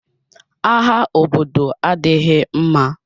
Agha obodo adịghị mma.